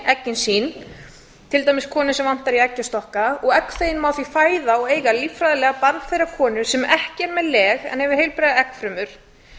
eggin sín til dæmis konu sem vantar í eggjastokka og egg má því fæða og eiga líffræðilega barn þeirrar konu sem ekki er með leg en hefur heilbrigðar eggfrumur